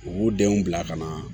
U b'u denw bila ka na